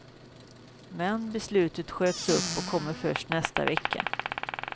Men beslutet sköts upp och kommer först nästa vecka.